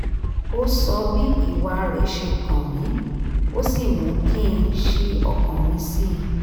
ó sọ bí ìwà rẹ̀ ṣe kàn mí ó sì mú kí n ṣí ọkàn mi sí i